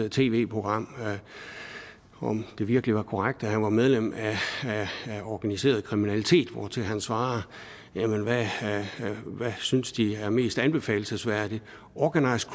tv program om det virkelig var korrekt at han var medlem af organiseret kriminalitet hvortil han svarede hvad synes de er mest anbefalelsesværdigt organized